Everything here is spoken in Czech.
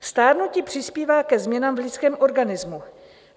Stárnutí přispívá ke změnám v lidském organismu.